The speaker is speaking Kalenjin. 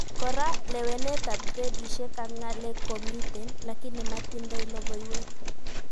Kora, lewenetab gradishek ak ngalek komiten, lakini matindoi logoiwek